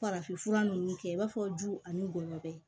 Farafinfura ninnu kɛ i b'a fɔ du ani gɔɲɔbɛ